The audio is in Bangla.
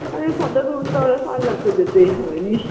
ওই photo তুলতে হবে parlour তো যেতেই হবে নিশ